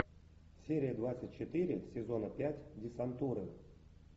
серия двадцать четыре сезона пять десантура